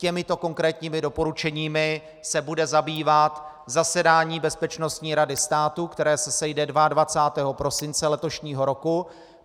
Těmito konkrétními doporučeními se bude zabývat zasedání Bezpečnostní rady státu, které se sejde 22. prosince letošního roku.